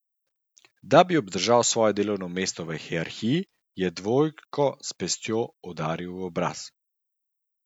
Da bi obdržal svoje mesto v hierarhiji, je dvojko s pestjo udaril v obraz.